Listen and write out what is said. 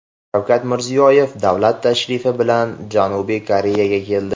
Shavkat Mirziyoyev davlat tashrifi bilan Janubiy Koreyaga keldi.